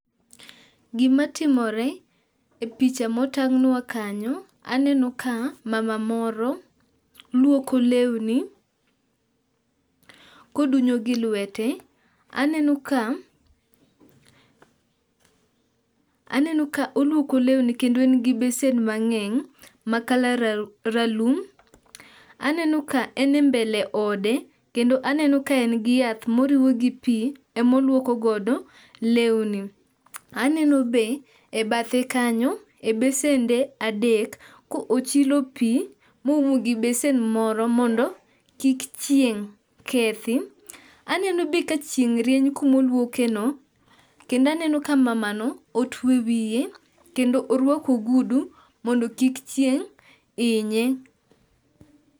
Gimatimore e picha motang'nwa kanyo aneno ka mama moro luoko lewni kodunyo gi lwete. Aneno ka oluoko lewni kendo en gi besen mang'eng' ma color ralum. Aneno ka en e mbele ode kendo aneno ka en gi yath moruw gi pi emoluokogodo lewni. Aneno be e bathe kanyo e besende adek kochilo pi moum gi besen moro mondo kik chieng' kethi. Aneno be ka chieng' rieny kumoluokeno kendo aneno ka mamano otwe wiye kendo orwako ogudu mondo kik chieng' inye.